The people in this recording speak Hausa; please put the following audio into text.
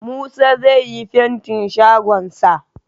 Musa zai yi fantin shagon sa